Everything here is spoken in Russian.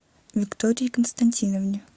виктории константиновне